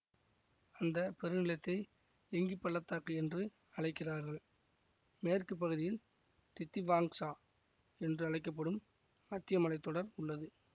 அந்த பெருநிலத்தை லிங்கிப் பள்ள தாக்கு என்று அழைக்கிறார்கள் மேற்கு பகுதியில் தித்திவாங்சா என்று அழைக்க படும் மத்திய மலை தொடர் உள்ளது